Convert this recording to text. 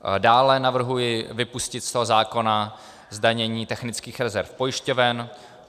Dále navrhuji vypustit z toho zákona zdanění technických rezerv pojišťoven.